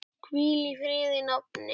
Hvíl í friði, nafni.